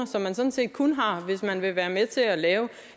som man sådan set kun har hvis man vil være med til at lave